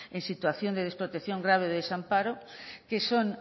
en situación de desprotección grave y desamparo que son